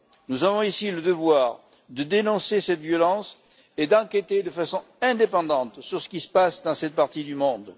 Nous avons, ici, le devoir de dénoncer cette violence et d'enquêter de façon indépendante sur ce qui se passe dans cette partie du monde.